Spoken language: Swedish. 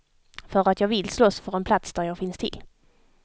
För att jag vill slåss för en plats där jag finns till.